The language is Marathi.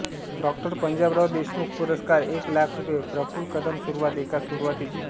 डॉ पंजाबराव देशमुख पुरस्कार एक लाख रुपये प्रफुल्ल कदम सुरुवात एका सुरुवातीची